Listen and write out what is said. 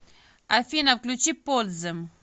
афина включи подзем